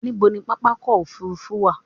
Ní bo ni pápákọ̀ òfurufú wà?